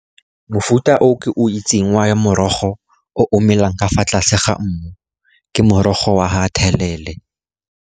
Mofuta o ke itseng wa morogo o o omelelang ka fa tlase ga mmu, ke morogo wa ga thelele.